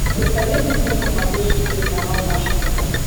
посоветуй мне на смотрешке телеканал наше тв